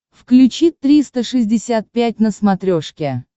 включи триста шестьдесят пять на смотрешке